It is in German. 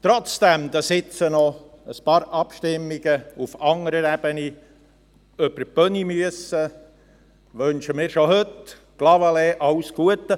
Obwohl jetzt noch ein paar Abstimmungen auf anderer Ebene über die Bühne gehen müssen, wünschen wir Clavaleyres schon heute alles Gute.